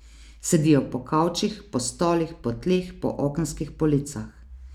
Sedijo po kavčih, po stolih, po tleh, po okenskih policah.